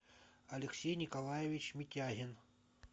алексей николаевич митягин